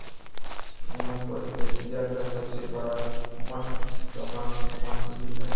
यहाँ पर एशिया का सबसे बड़ा मठ तवांग मठ भी है